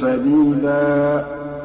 سَدِيدًا